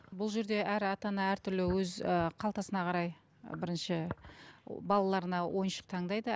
бұл жерде әр ата ана әртүрлі өз ііі қалтасына қарай бірінші балаларына ойыншық таңдайды